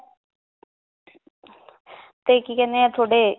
ਤੇ ਕੀ ਕਹਿੰਦੇ ਏ ਤੁਹਾਡੇ